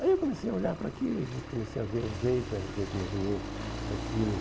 Aí eu comecei a olhar para aquilo e comecei a ver o jeito, era o jeito mais ou menos daquilo.